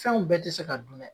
Fɛnw bɛɛ ti se ka dun dɛ